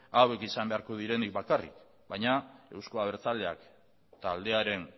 hauek izan beharko direnik bakarrik baina euzko abertzaleak taldearen